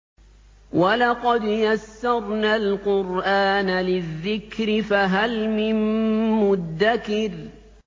وَلَقَدْ يَسَّرْنَا الْقُرْآنَ لِلذِّكْرِ فَهَلْ مِن مُّدَّكِرٍ